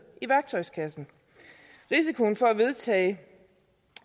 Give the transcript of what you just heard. i værktøjskassen risikoen for at